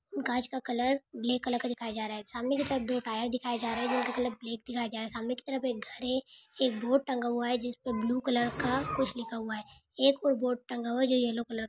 कांच का colour grey colour का दिखाया जा रहा है सामने के तरफ दो टायर जा रहे है जिनका कलर ब्लैक दिखाया जा रहा है सामने की तरफ एक घर है एक बोर्ड टंगा हुआ है जिसपर ब्लू कलर का कुछ लिखा हुआ है एक और बोर्ड टंगा हुआ है जो येलो कलर का है।